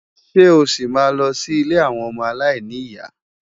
Ṣé o ṣì máa lọ sí ilé àwọn ọmọ aláìní ìyá?